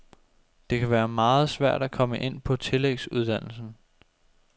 Det kan være meget svært at komme ind på tillægsuddannelsen.